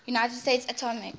united states atomic